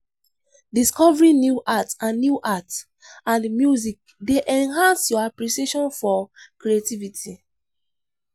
Discovering new art and new art and music dey enhance your appreciation for creativity.